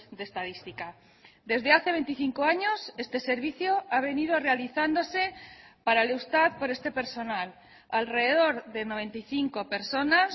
de estadística desde hace veinticinco años este servicio ha venido realizándose para el eustat por este personal alrededor de noventa y cinco personas